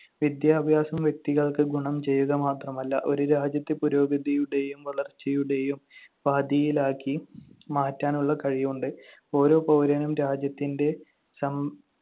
വിദ്യാഭ്യാസം വ്യക്തികൾക്ക് ഗുണം ചെയ്യുക മാത്രമല്ല ഒരു രാജ്യത്തെ പുരോഗതിയുടെയും വളർച്ചയുടെയും പാതയിലാക്കി മാറ്റാനുള്ള കഴിവുണ്ട്. ഓരോ പൗരനും രാജ്യത്തിന്‍റെ സം~